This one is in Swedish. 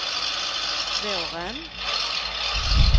våren